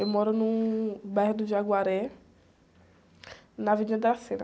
Eu moro no bairro do Jaguaré, na.